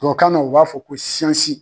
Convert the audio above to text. Tubabu kan na u b'a fɔ ko siyansi.